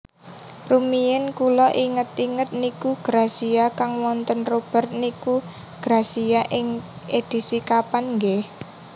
Rumiyin kula inget inget niku Grazia kang wonten Robert niku Grazia edisi kapan nggeh